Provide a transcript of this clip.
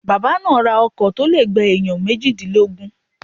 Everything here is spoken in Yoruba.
Bàbá náà ra ọkọ̀ to le gba ènìyàn méjìdínlógún